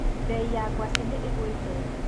Mbei ya ngwaci nĩigũĩte.